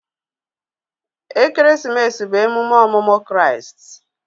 Ekeresimesi bụ emume ọmụmụ Kraịst.